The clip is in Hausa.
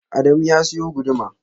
Adamu ya siyo guduma.